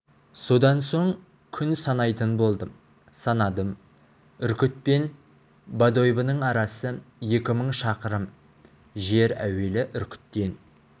содан соң күн санайтын болдым санадым үркіт пен бодойбоның арасы екі мың шақырым жер әуелі үркіттен